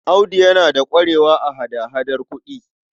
Audu yana da ƙwarewa a hada-hadar kuɗi.